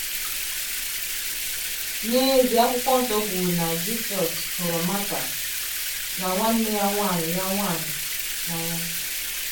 N’ezie, akwụkwo nsọ kwuru na “ Jisọs hụrụ Martha, na nwanne ya nwanyị ya nwanyị,... n’anya. ”